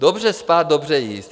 Dobře spát, dobře jíst